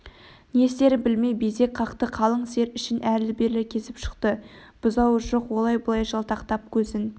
не істерін білмей безек қақты қалың сиыр ішін әрлі-бері кезіп шықты бұзауы жоқ олай-бұлай жалтақтап көзін